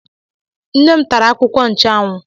Nne m tara akwụkwọ nchụanwụ.